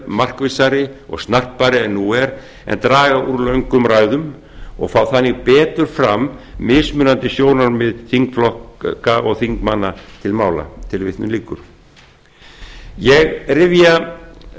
markvissari og snarpari en nú er en draga úr löngum ræðum og fá þannig betur fram mismunandi sjónarmið þingflokka og þingmanna til mála ég rifja